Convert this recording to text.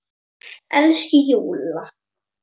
Elsku Júlla!